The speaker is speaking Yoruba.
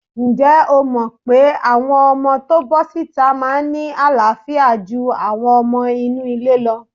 Ǹjẹ́ o mọ̀ pé àwọn ọmọ tó bọ́ síta máa ń ní àááfíà ju àwọn ọmọ inú ilé lọ?